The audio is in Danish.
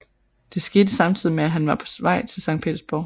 Det skete samtidig med at han var på vej til Skt